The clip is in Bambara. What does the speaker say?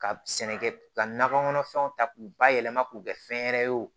Ka sɛnɛ kɛ ka nakɔ kɔnɔfɛnw ta k'u bayɛlɛma k'u kɛ fɛn wɛrɛ ye wo